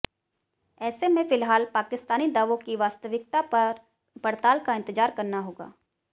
ऐसे में फिलहाल पाकिस्तानी दावों की वास्तविकता पर पड़ताल का इंतजार करना होगा